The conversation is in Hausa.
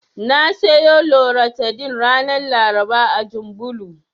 Na siyo Loratadin ranar Laraba a Janbulo.